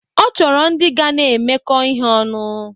Ọ chọrọ ndị ga na-emekọ ihe ọnụ.